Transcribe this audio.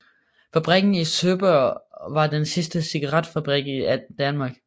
Fabrikken i Søborg var den sidste cigaretfabrik i Danmark